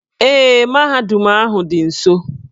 Ee, mahadum ahụ dị nso.